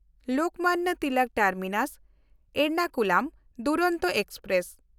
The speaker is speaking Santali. ᱞᱳᱠᱢᱟᱱᱱᱚ ᱛᱤᱞᱚᱠ ᱴᱟᱨᱢᱤᱱᱟᱥ–ᱮᱨᱱᱟᱠᱩᱞᱟᱢ ᱫᱩᱨᱚᱱᱛᱚ ᱮᱠᱥᱯᱨᱮᱥ